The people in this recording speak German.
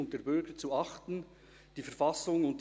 Ich darf ihn bitten, nach vorne zu kommen.